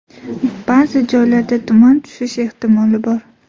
Ba’zi joylarda tuman tushish ehtimoli bor.